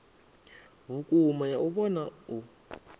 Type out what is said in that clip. vhukuma ya u vhona u